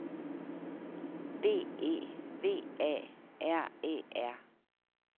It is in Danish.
B E V A R E R